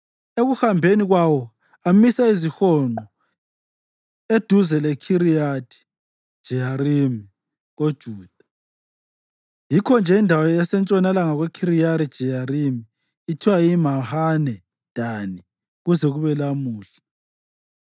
Ekuhambeni kwawo amisa izihonqo eduze leKhiriyathi-Jeyarimi koJuda. Yikho-nje indawo esentshonalanga kweKhiriyathi-Jeyarimi ithiwa yiMahane Dani kuze kube lamhla.